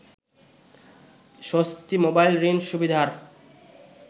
স্বস্তি মোবাইল ঋণ সুবিধার